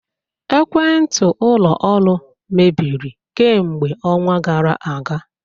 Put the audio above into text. Ekwentị ụlọ ọrụ mebiri kemgbe ọnwa gara aga